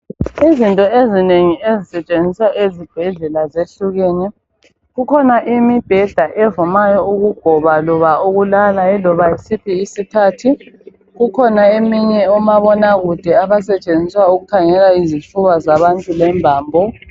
Izinto ezinengi ezisetshenziswa ezibhedlela zehlukene. Kukhona imibheda evumayo ukugoba loba ukulala iloba yisiphi isikhathi kukhona eminye omabonakude ababasetshenziswa ukukhangela izifuba zabantu lembambo.